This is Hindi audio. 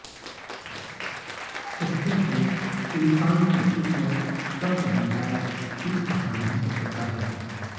कहते है इंसान की किस्मत कब बदल जाएं कुछ कहां नहीं जा सकता है